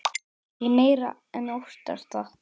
Ég meira en óttast það.